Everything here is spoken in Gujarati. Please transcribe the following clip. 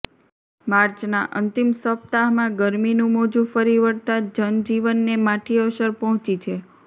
માર્ચના અંતિમ સપ્તાહમાં ગરમીનું મોજું ફરી વળતાં જનજીવનને માઠી અસર પહોંચી છે